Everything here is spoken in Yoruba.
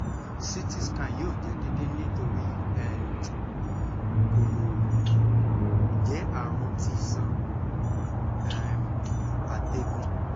ct scan yoo jẹ deede nitori um ko um jẹ arun ti iṣan um atẹgun